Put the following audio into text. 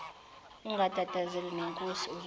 ungatatazeli nonkosi uzobona